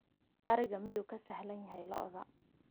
ariga miyuu ka sahlan yahay lo'da